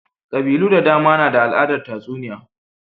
Ƙabilu da dama na da al'adar tatsuniya.